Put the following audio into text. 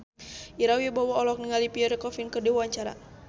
Ira Wibowo olohok ningali Pierre Coffin keur diwawancara